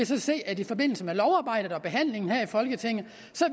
så se at i forbindelse med lovarbejdet og behandlingen her i folketinget